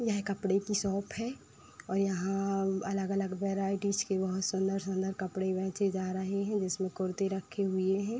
यह कपड़े की शॉप है और यहाँ अलग - अलग वराइटीज के बहोत सुंदर - सुंदर कपड़े बेचे जा रहे हैं जिसमें कुर्ती रखी हुई हैं।